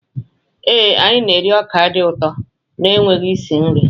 Ee, anyị na-eri ọka dị ụtọ na-enweghị isi nri.